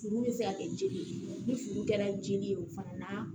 Furu bɛ se ka kɛ jeli ye ni furu kɛra jeli ye o fana na